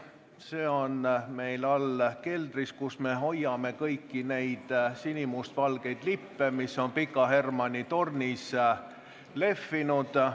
See on meil all keldris, kus me hoiame ka kõiki neid sinimustvalgeid lippe, mis on Pika Hermanni tornis lehvinud.